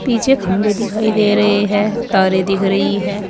पीछे खंभे दिखाई दे रहे है तारे दिख रही है।